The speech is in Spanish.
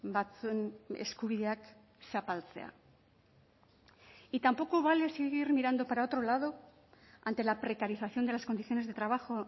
batzuen eskubideak zapaltzea y tampoco vale seguir mirando para otro lado ante la precarización de las condiciones de trabajo